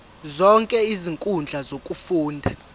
zonke izinkundla zokufunda